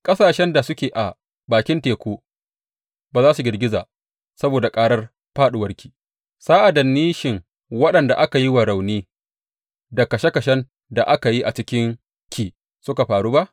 Ƙasashen da suke a bakin teku ba za su girgiza saboda ƙarar fāɗuwarki, sa’ad da nishin waɗanda aka yi wa rauni da kashe kashen da aka yi a cikinki suka faru ba?